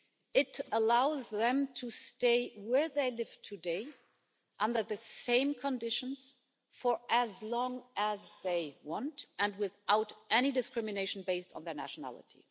It allows them to stay where they live today, under the same conditions, for as long as they want and without any discrimination based on their nationality.